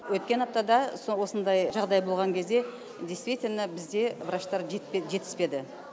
өткен аптада сол осындай жағдай болған кезде действительно бізде врачтар жетпеді жетіспеді